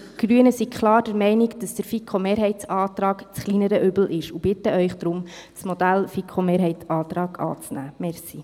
Wir Grüne sind klar der Meinung, dass der FiKo-Mehrheitsantrag das kleinere Übel ist, und bitten Sie deshalb, das Modell FiKo-Mehrheitsantrag anzunehmen.